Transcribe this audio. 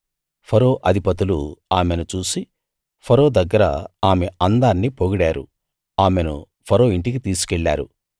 ఫరో అధిపతులు ఆమెను చూసి ఫరో దగ్గర ఆమె అందాన్ని పొగిడారు ఆమెను ఫరో ఇంటికి తీసుకెళ్ళారు